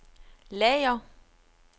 lager